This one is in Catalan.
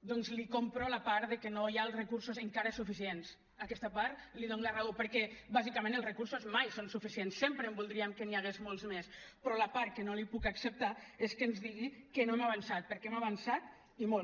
doncs li compro la part que no hi ha els recursos encara suficients en aquesta part li dono la raó perquè bàsicament els recursos mai són suficients sempre voldríem que n’hi hagués molts més però la part que no li puc acceptar és que ens digui que no hem avançat perquè hem avançat i molt